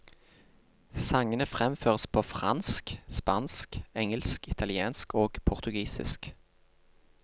Sangene fremføres på fransk, spansk, engelsk, italiensk og portugisisk.